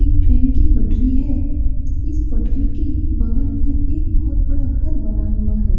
एक ट्रेन की पटरी है | इस पटरी के बगल में एक बहुत बड़ा घर बना हुआ है।